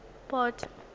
port